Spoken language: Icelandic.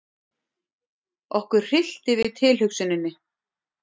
Okkur hryllti við tilhugsuninni.